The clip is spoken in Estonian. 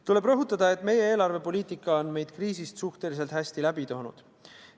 Tuleb rõhutada, et meie eelarvepoliitika on meid kriisist suhteliselt hästi läbi toonud.